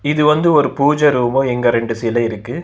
இது வந்து ஒரு பூஜ ரூமு எங்க ரெண்டு சிலை இருக்கு.